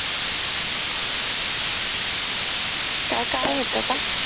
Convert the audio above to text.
काय काम होत का?